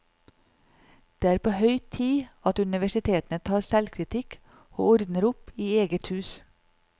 Det er på høy tid at universitetene tar selvkritikk og ordner opp i eget hus.